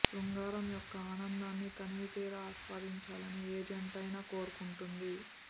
శృంగారం యొక్క ఆనందాన్ని తనివితీరా ఆస్వాదించాలని ఏ జంట అయినా కోరుకుంటుంది